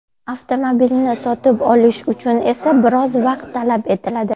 Avtomobilni sotib olish uchun esa biroz vaqt talab etiladi.